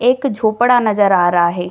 एक झोपड़ा नजर आ रहा है।